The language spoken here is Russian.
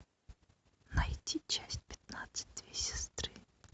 найти часть пятнадцать две сестры